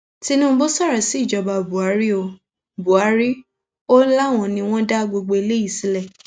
tinubu sọrọ síjọba buhari ó buhari ó láwọn ni wọn dá gbogbo eléyìí sílẹ